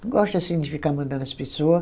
Não gosto assim de ficar mandando as pessoa.